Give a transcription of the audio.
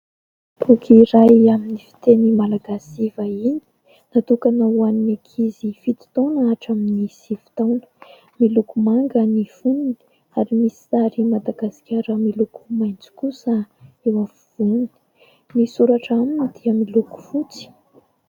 Boky iray amin'ny fiteny malagasy sy vahiny natokana ho an 'ny ankizy fito taona hatramin'ny sivy taona. Miloko manga ny fonony ary misy sary madagasikara miloko maintso kosa eo afovoany. Ny soratra aminy dia miloko fotsy